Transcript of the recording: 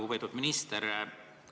Lugupeetud minister!